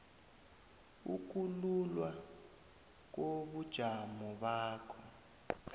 ukululwa kobujamo bakho